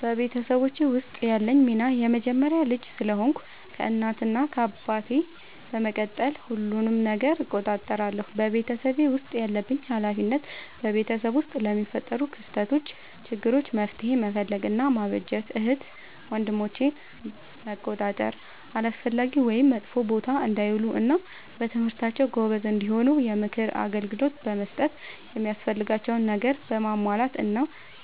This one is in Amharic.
በቤተሰቦቼ ውስጥ ያለኝ ሚና የመጀመሪያ ልጅ ስለሆንኩ ከእናት እና አባቴ በመቀጠል ሁሉንም ነገር እቆጣጠራለሁ። በቤተሰቤ ውስጥ ያለብኝ ኃላፊነት በቤተሰብ ውስጥ ለሚፈጠሩ ክስተቶች ÷ችግሮች መፍትሄ መፈለግ እና ማበጀት ÷ እህት ወንድሞቼን መቆጣጠር አላስፈላጊ ወይም መጥፎ ቦታ እንዳይውሉ እና በትምህርታቸው ጎበዝ እንዲሆኑ የምክር አገልግሎት በመስጠት የሚያስፈልጋቸውን ነገር በማሟላት እና